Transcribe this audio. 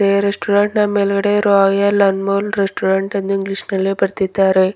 ಈ ರೆಸ್ಟೋರೆಂಟ್ ನ ಮೇಲ್ಗಡೆ ರಾಯಲ್ ಅಂಮೋಲ್ ರೆಸ್ಟೋರೆಂಟ್ ಎಂದು ಇಂಗ್ಲಿಷ್ ನಲ್ಲಿ ಬರ್ದಿದ್ದಾರೆ.